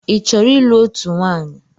Ị chọrọ ịlụ otú nwaanyị?